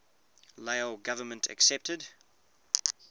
lao government accepted